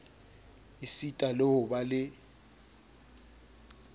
esita le ho ba le